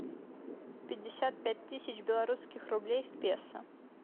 пятьдесят пять тысяч белорусских рублей в песо